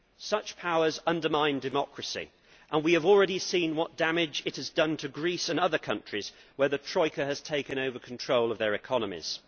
Such powers undermine democracy, and we have already seen what damage this has done to Greece and other countries where the Troika has taken over control of their economies.